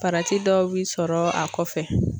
dɔw bi sɔrɔ a kɔfɛ.